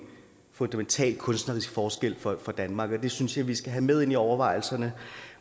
fundamental kunstnerisk forskel for danmark det synes jeg vi skal have med ind i overvejelserne